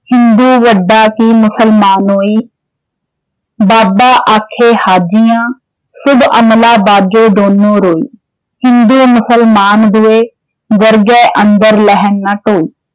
ਹਿੰਦੁ ਵਡਾ ਕਿ ਮੁਸਲਮਾਨੋਈ? ਬਾਬਾ ਆਖੇ ਹਾਜੀਆਂ, ਸੁਭ ਅਮਲਾਂ ਬਾਝੋ ਦੋਨੋ ਰੋਈ। ਹਿੰਦੂ ਮੁਸਲਮਾਨ ਦੁਇ, ਦਰਗਹਿ ਅੰਦਰ ਲੈਨ ਨ ਢੋਈ